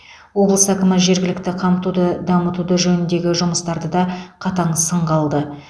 облыс әкімі жергілікті қамтуды дамыту жөніндегі жұмыстарды да қатаң сынға алды